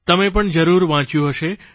તમે પણ જરૂર વાંચ્યું હશે